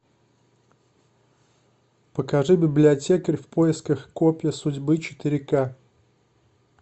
покажи библиотекарь в поисках копья судьбы четыре ка